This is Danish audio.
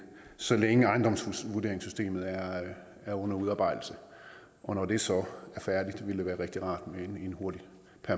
så længe ejendomsvurderingssystemet er er under udarbejdelse når det så er færdigt ville det være rigtig rart med en hurtig